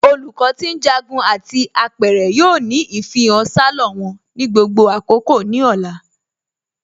Olùkọ ti njágún àti apẹ̀rẹ̀ yoo ni ifihàn salọ wọn ni gbogbo àkókò ni ọ̀là.